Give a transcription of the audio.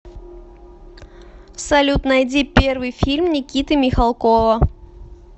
салют найди первый фильм никиты михалкова